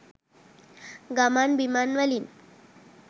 ගමන් බිමන්වලින්